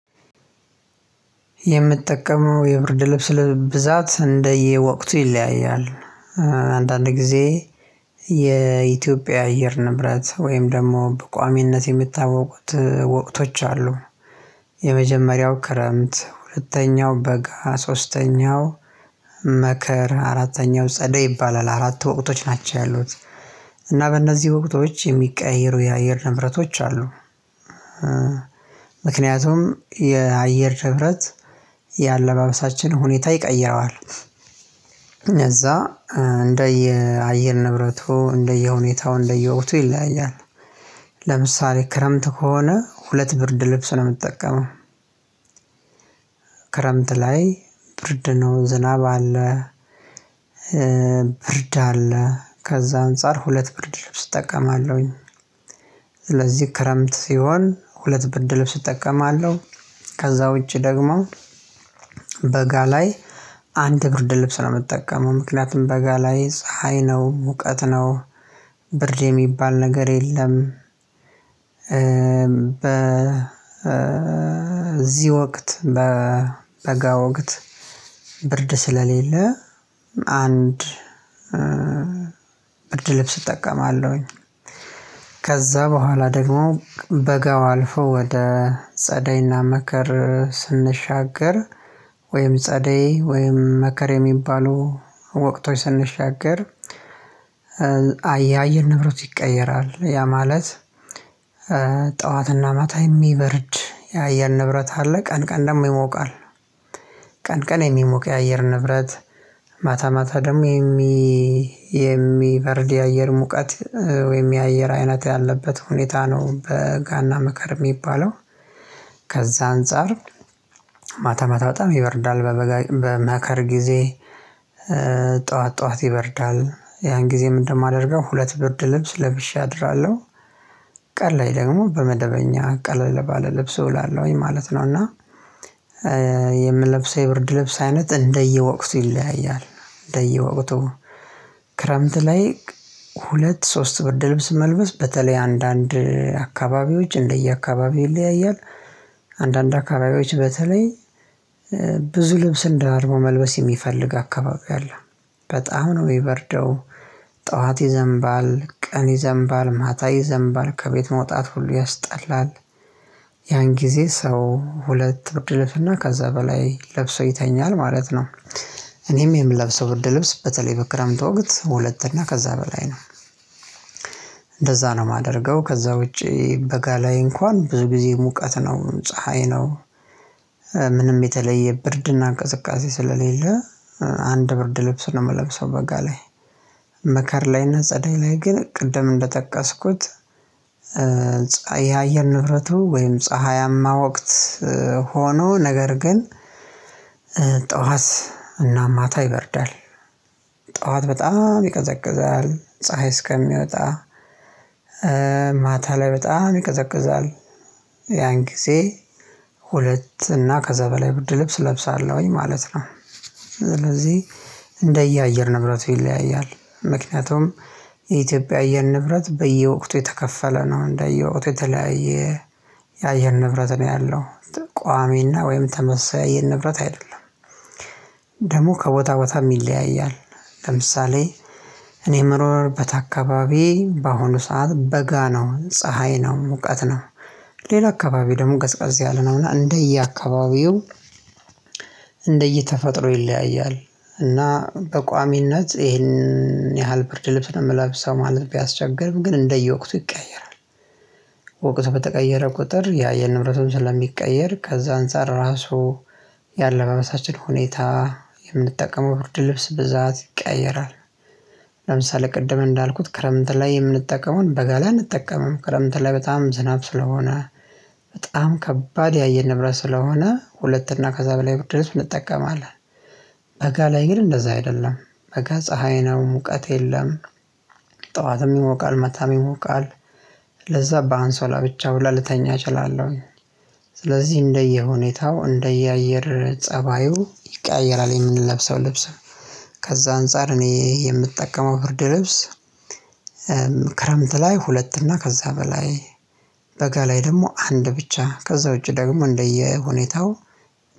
የምጠቀመው የብርድ ልብስ ብዛት እንደየወቅቱ ይለያያል አንዳንድ ጊዜ የኢትዮጵያ አየር ንብረት ወይም ደግሞ በቋሚነት የምታወቁት ወቅቶች አሉ። የመጀመሪያው ክረምት ሁለተኛው በጋ ሶስተኛው መከር አራተኛው ጸደይ ይባላል አራት ወቅቶች ናቸው ያሉት። እና በእነዚህ ወቅቶች የሚቀይሩ የአየር ንብረቶች አሉ። ምክንያቱም የአየር ንብረት የአለባበሳችን ሁኔታ ይቀይረዋል። እነዛ እንደ አየር ንብረቱ እንደየ ሁኔታው እንደየ ወቅቱ ይለያያል። ለምሳሌ ክረምት ከሆነ ሁለት ብርድ ልብስ ነው ምጠቀመው። ክረምት ላይ ብርድ ነው ዝናብ አለ። ብርድ አለ ከዛ አንፃር ሁለት ብርድ ልብስ እጠቀማለሁኝ። ስለዚህ ክረምት ሲሆን ሁለት ብድር ልብስ እጠቀማለሁ። ከዛ ውጪ ደግሞ በጋ ላይ አንድ ብርድ ልብስ ነው የምጠቀመው ምክንያቱም በጋ ላይ ፀሀይ ነው ሙቀት ነው ብርድ የሚባል ነገር የለም። ዚህ ወቅት በጋ ወቅት ብርድ ስለሌለ አንድ ብርድ ልብስ እጠቀማለሁኝ። ከዛ በኋላ ደግሞ በጋው አልፎ ወደ ጸደይና መከር ስንሻገር ወይም ጸደይ ወይም መከር የሚባሉ ወቅቶች ስንሻገር። አየር ንብረቱ ይቀየራል ያ ማለት ጠዋትና ማታ የሚበርድ የአየር ንብረት አለ ቀን ቀን ደግሞ ይሞቃል። ቀን ቀን የሚሞቅ የአየር ንብረት ማታ ማታ ደግሞ የሚበርድ የአየር ሙቀት ወይም የአየር አይነት ያለበት ሁኔታ ነው በጋና መከር የሚባለው። ከዛ አንፃር ማታ ማታ በጣም ይበርዳል በመከር ጊዜ ጥዋት ጥዋት ይበርዳል ያን ጊዜ ምን ማደርገው ሁለት ብርድ ልብስ ለብሼ አድራለሁ። ቀን ላይ ደግሞ በመደበኛ ቀለለ ባለ ልብስ እውላለሁኝ ማለት ነው። እና የምለብሰው የብርድ ልብስ አይነት እንደየወቅቱ ይለያያል። እንደየወቅቱ ክረምት ላይ ሁለት ሶስት ብርድ ልብስ መልበስ በተለይ አንዳንድ አካባቢዎች እንደ የአካባቢው ይለያያል። አንዳንድ አካባቢዎች በተለይ ብዙ ልብስን ደራርቦ መልበስ የሚፈልግ አካባቢ አለ በጣም ነው የሚበርደው ጥዋት ይዘንባል ቀን ይዘንባል ማታ ይዘንባል ከቤት መውጣት ሁሉ ያስጠላል። ያን ጊዜ ሰው ሁለት ብርድ ልብስና ከዛ በላይ ለብሶ ይተኛል ማለት ነው። እኔም የምለብሰው ብርድ ልብስ በተለይ በክረምት ወቅት ሁለት እና ከዛ በላይ ነው። እንደዛ ነው የማደርገው ከዛ ውጪ በጋ ላይ እንኳን ብዙ ጊዜ ሙቀት ነው ፀሀይ ነው። ምንም የተለየ ብርድና ቅዝቃዜ ስለሌለ አንድ ብርድ ልብስ ነው የምለብሰው በጋ ላይ። መከር ላይና ጸደይ ላይ ግን ቅድም እንደጠቀስኩት የአየር ንብረቱ ወይም ፀሀያማ ወቅት ሆኖ ነገር ግን ጥዋት እና ማታ ይበርዳል። ጥዋት በጣም ይቀዘቅዛል ፀሀይ እስከሚወጣ። ማታ ላይ በጣም ይቀዘቅዛል ያን ጊዜ ሁለት እና ከዛ በላይ ብርድ ልብስ እለብሳለሁኝ ማለት ነው። ስለዚህ እንደ የአየር ንብረቱ ይለያያል ምክንያቱም የኢትዮጵያ አየር ንብረት በየወቅቱ የተከፈለ ነው እንደ የወቅቱ የተለያየ የአየር ንብረት ነው ያለው ቋሚና ወይም ተመሳሳይ የአየር ንብረት አይደለም። ደግሞ ከቦታ ቦታም ይለያያል ለምሳሌ እኔ የምኖርበት አካባቢ በአሁኑ ሰዓት በጋ ነው ፀሀይ ነው ሙቀት ነው። ሌላ አካባቢ ደግሞ ቀዝቀዝ ያለ ነውና እንደየአካባቢው እንደየተፈጥሮ ይለያያል እና በቋሚነት ይሄንን ያህል ብርድ ልብስ ለመላብሰው ማለት ቢያስቸግርም ግን እንደየወቅቱ ይቀየራል። ወቅቱ በተቀየረ ቁጥር የአየር ንብረቱም ስለሚቀየር ከዛ አንፃር ራሱ ያለባበሳችን ሁኔታ የምንጠቀመው ብርድ ልብስ ብዛት ይቀያየራል። ለምሳሌ ቅድም እንዳልኩት ክረምት ላይ የምንጠቀመውን በጋላ አንጠቀምም ክረምት ላይ በጣም ዝናብ ስለሆነ በጣም ከባድ የአየር ንብረት ስለሆነ ሁለት እና ከዛ በላይ ብርድ ልብስ እንጠቀማለን። በጋ ላይ ግን እንደዛ አይደለም። በጋ ፀሀይ ነው ሙቀት የለም። ጠዋትም ይሞቃል ማታም ይሞቃል ለዛ በአንሶላ ብቻ ሁላ ልተኛ እችላለሁኝ። ስለዚህ እንደየሁኔታው እንደየአየር ፀባዩ ይቀያየራል የምንለብሰው ልብስ። ከዛ አንፃር እኔ የምጠቀመው ብርድ ልብስ ክረምት ላይ ሁለት እና ከዛ በላይ በጋ ላይ ደግሞ አንድ ብቻ ከዛ ውጪ ደግሞ እንደየ ሁኔታው